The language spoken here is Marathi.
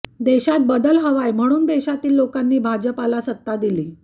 देशात बदल हवाय म्हणून देशातील लोकांनी भाजपला सत्ता दिली